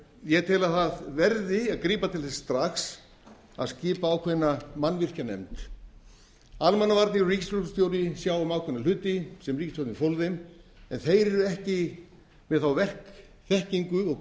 ég tel að það verði að grípa til þess strax að skipa ákveðna mannvirkjanefnd almannavarnir og ríkislögreglustjóri sjá um ákveðna hluti sem ríkisstjórnin fól mér en þeir eru ekki með þá verkþekkingu og